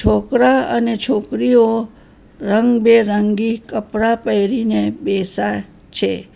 છોકરા અને છોકરીઓ રંગબેરંગી કપડા પહેરીને બેસા છે.